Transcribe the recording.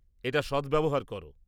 -এটার সদ্ব্যবহার করো।